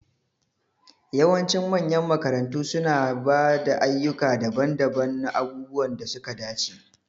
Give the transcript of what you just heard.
Yawancin manyan makarantu suna ba da ayyuka daban-daban na abubuwan da suka dace.